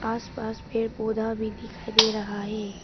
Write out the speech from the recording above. आसपास पेड़ पौधा भी दिखाई दे रहा है।